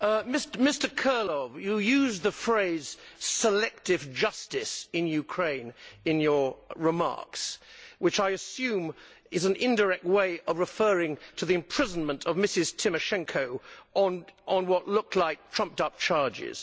Mr Kirilov, you used the phrase selective justice' in Ukraine in your remarks, which I assume is an indirect way of referring to the imprisonment of Mrs Tymoshenko on what looked like trumped up charges.